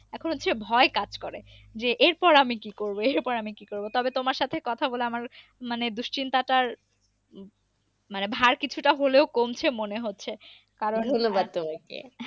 এখন হচ্ছে ভয় কাজ করে। যে এরপর আমি কি করব এর পর আমি কি করব। তবে তোমার সাথে কথা বলে আমার মানে দুশ্চিন্তা টার ভার কিছুটা হলেও কমছে মনে হচ্ছে। কারন হল ধন্যবাদ তোমাকে।